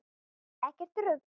Ekkert rugl.